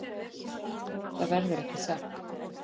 Það verður ekki sagt.